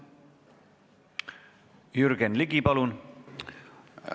Jürgen Ligi, palun!